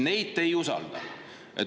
Neid te ei usalda.